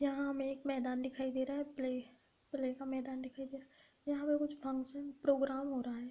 यहाँ हमें एक मैदान दिखाई दे रहा है। प्ले प्ले का मैदान दिखाई दे रहा है। यहाँ पर कुछ फंक्शन प्रोग्राम हो रहा है।